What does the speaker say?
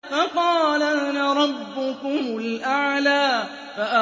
فَقَالَ أَنَا رَبُّكُمُ الْأَعْلَىٰ